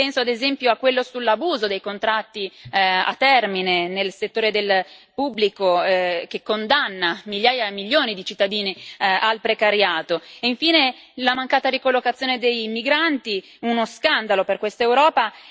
Penso, ad esempio, a quello sull'abuso dei contratti a termine nel settore del pubblico, che condanna migliaia e milioni di cittadini al precariato e, infine, la mancata ricollocazione dei migranti, uno scandalo per questa Europa.